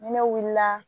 Ni ne wulila